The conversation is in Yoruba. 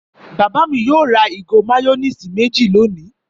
Bàbá mi yóò ra ìgò máyónísì méjì lónìí.